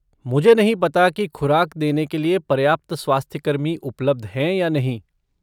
मुझे नहीं पता कि खुराक देने के लिए पर्याप्त स्वास्थ्यकर्मी उपलब्ध हैं या नहीं।